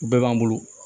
U bɛɛ b'an bolo